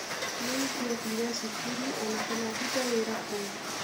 Nĩ ingĩathire cukuru o na kana ndute wĩra kũu.